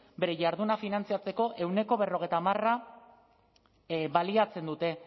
bere jarduna finantziatzeko ehuneko berrogeita hamara baliatzen dute